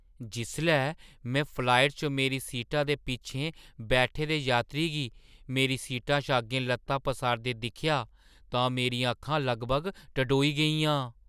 जिसलै में फ्लाइट च मेरी सीटा दे पिच्छें बैठे दे यात्री गी मेरी सीटा शा अग्गें ल'त्तां पसारदे दिक्खेआ तां मेरियां अक्खां लगभग टडोई गेइयां।